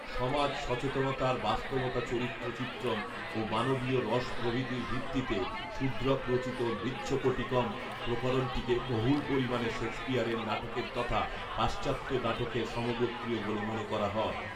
সমাজ সচেতনতার বাস্তবতা চরিত্র চিত্রন ও মানবীয় রস প্রভৃতির ভিত্তিতে শূদ্রক রচিত মৃচ্ছকটিকম্ প্রকরণটিকে বহুল পরিমানে শেক্সপিয়ারের নাটকের তথা পাশ্চাত্য নাটকের সমগোত্রীয় বলে মনে করা হয়